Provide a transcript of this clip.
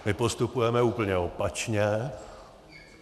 My postupujeme úplně opačně.